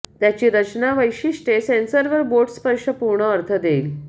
त्याची रचना वैशिष्ट्ये सेन्सर वर बोट स्पर्श पूर्ण अर्थ देईल